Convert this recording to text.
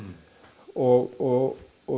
og og